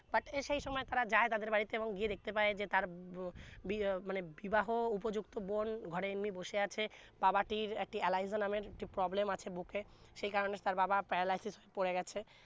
but এই সে সময় যায় তাদের বাড়ি তে এবং গিয়ে দেখতে পায় তার বো বি¬ বিবাহ উপযুন্ত বোন ঘরে এমনি বসে আছে বাবাটির একটি এলাইযো নামের poblem আছে বুকে সে কারনে তা বাবা paralysis পরে গেছে